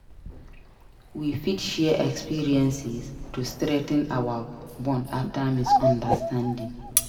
We fit share experiences to strengthen our bond after misunderstanding.